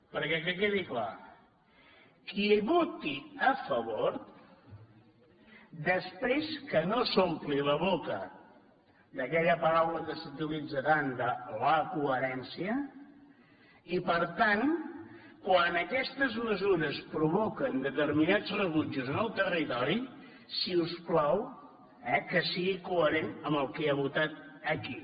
perquè que quedi clar qui hi voti a favor després que no s’ompli la boca d’aquella paraula que s’utilitza tant de la coherència i per tant quan aquestes mesures provoquen determinats rebutjos en el territori si us plau que sigui coherent amb el que ha votat aquí